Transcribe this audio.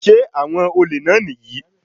Sé àwọn olè náà nìyí?